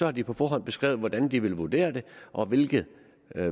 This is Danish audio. har de på forhånd beskrevet hvordan de vil vurdere det og hvilken